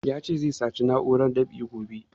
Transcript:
Ya ce zai sace mun na'urar dab'i